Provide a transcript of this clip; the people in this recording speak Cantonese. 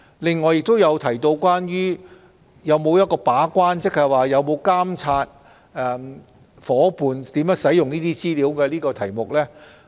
此外，議員亦就當局有否把關——即有否監察協定夥伴如何使用有關的稅務資料——而提出疑問。